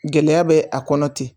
Gɛlɛya bɛ a kɔnɔ ten